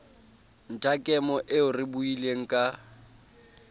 nthakemo eo re buileng ka